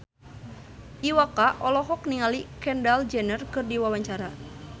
Iwa K olohok ningali Kendall Jenner keur diwawancara